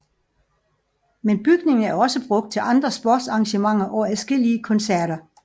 Men bygningen er også brugt til andre sportsarrangementer og adskillige koncerter